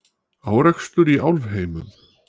Árekstur í Álfheimum